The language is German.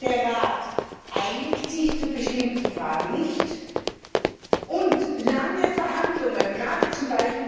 Der Rat einigt sich zu bestimmten Fragen nicht, lange Verhandlungen gerade z.